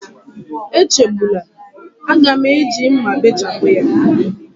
Echegbula, a ga m eji mma bechapụ ya.